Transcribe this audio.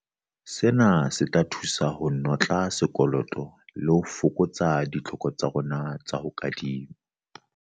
Sena se tla thusa ho notla sekoloto le ho fokotsa ditlhoko tsa rona tsa ho kadima.